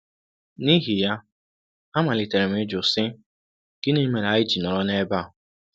N’ihi ya, amalitere m ịjụ, sị: ‘Gịnị mere anyị ji nọrọ n’ebe a?